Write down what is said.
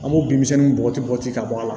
An b'o bin misɛnninw bɔgɔti bɔgɔti ka bɔ a la